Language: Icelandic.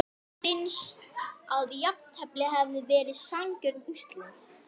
Arndísar, botnar Garðar sem sest við skrifborðið.